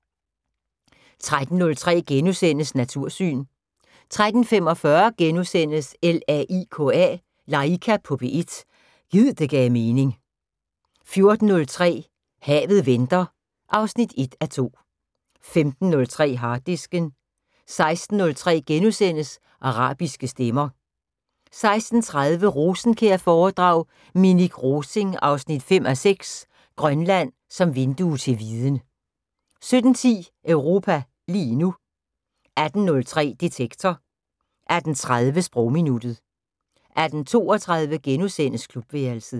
13:03: Natursyn * 13:45: LAIKA på P1 – gid det gav mening * 14:03: Havet venter 1:2 15:03: Harddisken 16:03: Arabiske stemmer * 16:30: Rosenkjær-foredrag: Minik Rosing 5:6 - Grønland som vindue til viden 17:10: Europa lige nu 18:03: Detektor 18:30: Sprogminuttet 18:32: Klubværelset *